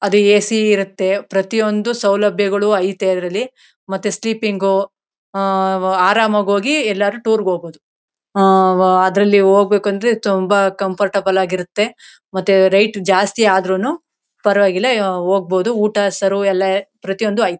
ಅದು ಎ.ಸಿ ಇರುತ್ತೆ ಪ್ರತಿಯೊಂದು ಸೌಲಭ್ಯಗಳು ಐತೆ ಇದ್ರಲ್ಲಿ ಮತ್ತೆ ಸ್ಲೀಪಿಂಗ್ ಆಆ ಆರಾಮಾಗಿ ಹೋಗಿ ಎಲ್ಲಾನ ಟೂರ್ಗೆ ಹೋಗಬಹುದು. ಆಆಆ ಅದರಲ್ಲಿ ಹೋಗಬೇಕಂದ್ರೆ ತುಂಬಾ ಕಂಫರ್ಟೆಬಲ್ ಆಗಿರುತ್ತೆ ಮತ್ತೆ ರೇಟ್ ಜಾಸ್ತಿ ಆದ್ರೂನೂ ಪರವಾಗಿಲ್ಲ ಹೋಗಬಹುದು ಊಟ ಸರ್ವ್ ಎಲ್ಲ ಪ್ರತಿಯೊಂದು ಐತೆ.